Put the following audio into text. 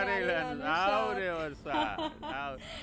કારેલા નું શાક. આવરે વરસાદ.